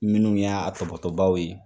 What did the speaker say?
Minnu y'a tɔbɔbaw ye